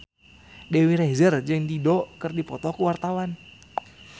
Dewi Rezer jeung Dido keur dipoto ku wartawan